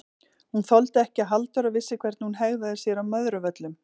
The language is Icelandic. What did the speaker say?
Hún þoldi ekki að Halldóra vissi hvernig hún hegðaði sér á Möðruvöllum!